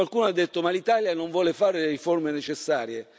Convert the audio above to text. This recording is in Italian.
Qualcuno ha detto ma l'Italia non vuole fare le riforme necessarie.